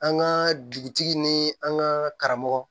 An ka dugutigi ni an ka karamɔgɔ